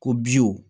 Ko